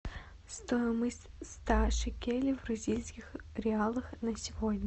стоимость ста шекелей в бразильских реалах на сегодня